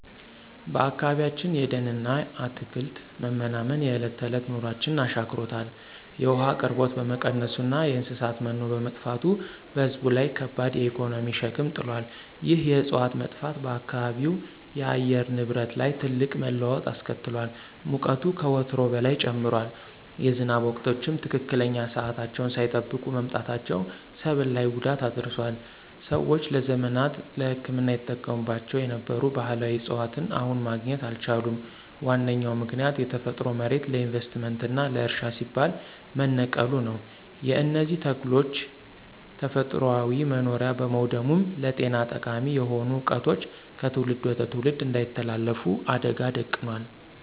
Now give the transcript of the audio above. በአካባቢያችን የደንና አትክልት መመናመን የዕለት ተዕለት ኑሯችንን አሻክሮታል። የውሃ አቅርቦት በመቀነሱና የእንስሳት መኖ በመጥፋቱ በሕዝብ ላይ ከባድ የኢኮኖሚ ሸክም ጥሏል። ይህ የዕፅዋት መጥፋት በአካባቢው የአየር ንብረት ላይ ትልቅ መለዋወጥ አስከትሏል። ሙቀቱ ከወትሮው በላይ ጨምሯል፤ የዝናብ ወቅቶችም ትክክለኛ ሰዓታቸውን ሳይጠብቁ መምጣታቸው ሰብል ላይ ጉዳት አድርሷል። ሰዎች ለዘመናት ለሕክምና ይጠቀሙባቸው የነበሩ ባሕላዊ ዕፅዋትን አሁን ማግኘት አልቻሉም። ዋነኛው ምክንያት የተፈጥሮ መሬት ለኢንቨስትመንትና ለእርሻ ሲባል መነቀሉ ነው። የእነዚህ ተክሎች ተፈጥሯዊ መኖሪያ በመውደሙም ለጤና ጠቃሚ የሆኑ ዕውቀቶች ከትውልድ ወደ ትውልድ እንዳይተላለፉ አደጋ ደቅኗል።